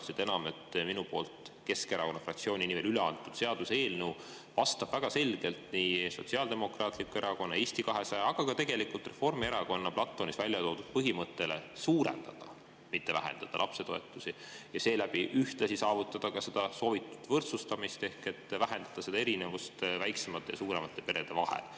Seda enam, et minu poolt Keskerakonna fraktsiooni nimel üle antud seaduseelnõu vastab väga selgelt Sotsiaaldemokraatliku Erakonna ja Eesti 200, aga ka tegelikult Reformierakonna platvormis välja toodud põhimõttele suurendada, mitte vähendada lapsetoetusi ja seeläbi ühtlasi saavutada seda soovitud võrdsustamist ehk vähendada erinevust väiksemate ja suuremate perede vahel.